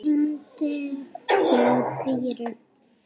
Síminn hringir hjá Dýra.